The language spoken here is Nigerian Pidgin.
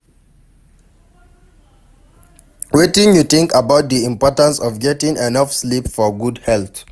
Wetin you think about di importance of getting enough sleep for good health?